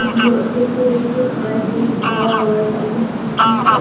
Is here decorated by fake flowers i can see peop --